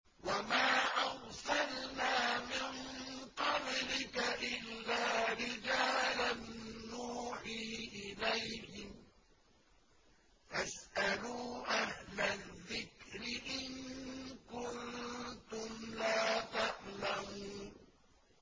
وَمَا أَرْسَلْنَا مِن قَبْلِكَ إِلَّا رِجَالًا نُّوحِي إِلَيْهِمْ ۚ فَاسْأَلُوا أَهْلَ الذِّكْرِ إِن كُنتُمْ لَا تَعْلَمُونَ